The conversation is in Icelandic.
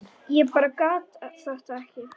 Ég bara gat þetta ekki.